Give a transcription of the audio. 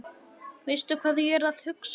Veistu hvað ég er að hugsa?